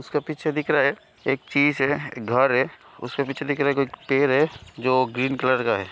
उसका पीछे देख रहा है एक चीज है घर है उसका पीछे देख रहा है कोई एक पैर है जो ग्रीन कलर का है।